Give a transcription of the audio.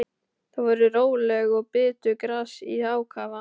Þau voru róleg og bitu gras í ákafa.